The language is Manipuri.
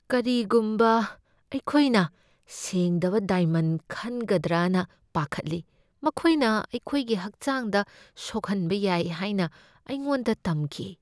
ꯀꯔꯤꯒꯨꯝꯕ ꯑꯩꯈꯣꯏꯅ ꯁꯦꯡꯗꯕ ꯗꯥꯏꯃꯟ ꯈꯟꯒꯗ꯭ꯔꯅ ꯄꯥꯈꯠꯂꯤ꯫ ꯃꯈꯣꯏꯅ ꯑꯩꯈꯣꯏꯒꯤ ꯍꯛꯆꯥꯡꯗ ꯁꯣꯛꯍꯟꯕ ꯌꯥꯏ ꯍꯥꯏꯅ ꯑꯩꯉꯣꯟꯗ ꯇꯝꯈꯤ ꯫